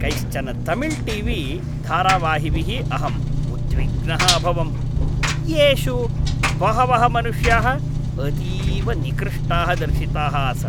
कैश्चन Tamil T V धारावाहिभिः अहम् उद्विग्नः अभवं, येषु बहवः मनुष्याः अतीव निकृष्टाः दर्शिताः आसन्।